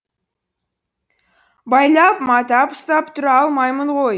байлап матап ұстап тұра алмаймын ғой